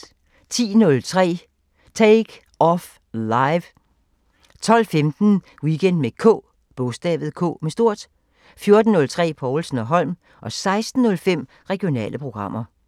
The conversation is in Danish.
10:03: Take Off Live 12:15: Weekend med K 14:03: Povlsen & Holm 16:05: Regionale programmer